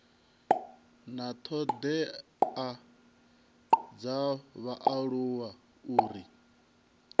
na thodea dza vhaaluwa uri